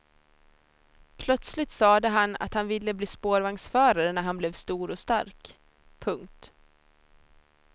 Plötsligt sade han att han ville bli spårvagnsförare när han blev stor och stark. punkt